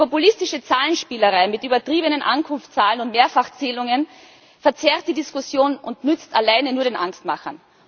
Die populistische Zahlenspielerei mit übertriebenen Ankunftszahlen und Mehrfachzählungen verzerrt die Diskussion und nützt alleine nur den Angstmachern.